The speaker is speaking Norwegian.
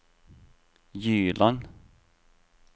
Gyland